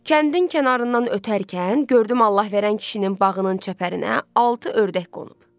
Kəndin kənarından ötərkən gördüm Allahverən kişinin bağının çəpərinə altı ördək qonub.